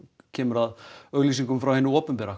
kemur að auglýsingafé frá hinu opinbera